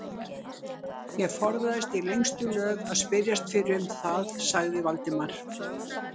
Ég forðaðist í lengstu lög að spyrjast fyrir um það sagði Valdimar.